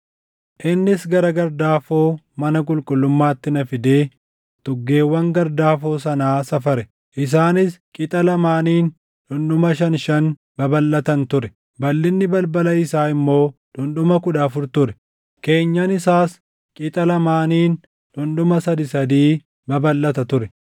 Innis gara gardaafoo mana qulqullummaatti na fidee tuggeewwan gardaafoo sanaa safare; isaanis qixa lamaaniin dhundhuma shan shan babalʼatan ture. Balʼinni balbala isaa immoo dhundhuma kudha afur ture; keenyan isaas qixa lamaaniin dhundhuma sadii sadii babalʼata ture.